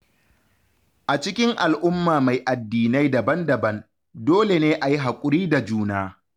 A cikin al’umma mai addinai daban-daban, dole ne a yi hakuri da juna.